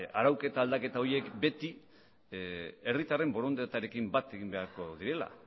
arauketa aldaketa horiek beti herritarren borondatearekin bat egin beharko direla